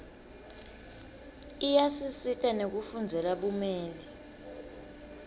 iyasisita nekufundzela bumeli